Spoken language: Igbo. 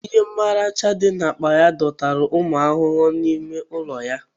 Ihe mracha dị n'akpa ya dọtara ụmụ ahụhụ n'ime ụlọ ya